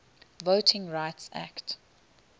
voting rights act